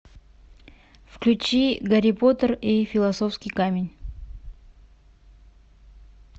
включи гарри поттер и философский камень